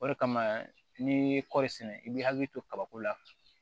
O de kama n'i ye kɔɔri sɛnɛ i b'i hakili to kabako la